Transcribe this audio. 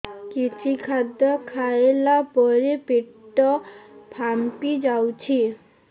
କିଛି ଖାଦ୍ୟ ଖାଇଲା ପରେ ପେଟ ଫାମ୍ପି ଯାଉଛି